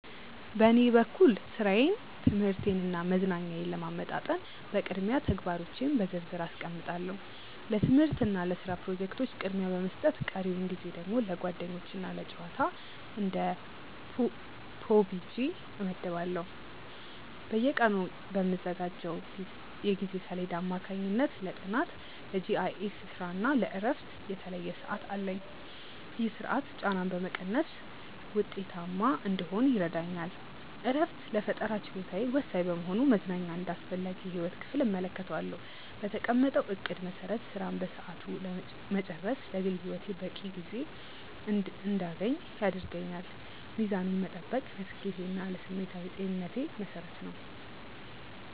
በኔ በኩል ሥራዬን ትምህርቴንና መዝናኛዬን ለማመጣጠን በቅድሚያ ተግባሮቼን በዝርዝር አስቀምጣለሁ። ለትምህርትና ለስራ ፕሮጀክቶች ቅድሚያ በመስጠት ቀሪውን ጊዜ ደግሞ ለጓደኞችና ለጨዋታ (እንደ PUBG) እመድባለሁ። በየቀኑ በምዘጋጀው የጊዜ ሰሌዳ አማካኝነት ለጥናት፣ ለGIS ስራና ለእረፍት የተለየ ሰዓት አለኝ። ይህ ስርዓት ጫናን በመቀነስ ውጤታማ እንድሆን ይረዳኛል። እረፍት ለፈጠራ ችሎታዬ ወሳኝ በመሆኑ መዝናኛን እንደ አስፈላጊ የህይወት ክፍል እመለከተዋለሁ። በተቀመጠው እቅድ መሰረት ስራን በሰዓቱ መጨረስ ለግል ህይወቴ በቂ ጊዜ እንድያገኝ ያደርገኛል። ሚዛኑን መጠበቅ ለስኬቴና ለስሜታዊ ጤንነቴ መሰረት ነው።